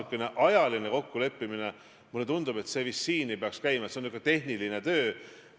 Kui teie ei usalda kohtuid ja prokuratuuri, aga peaminister usaldab, siis kas teie ei usalda peaministrit?